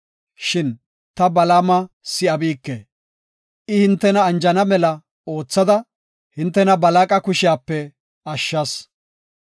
Shin ta Balaama si7abike; I hintena anjana mela oothada, hintena Balaaqa kushiyape ashshas.